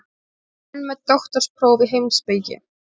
Menn með doktorspróf í heimspeki?